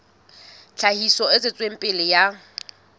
tlhahiso e tswetseng pele ya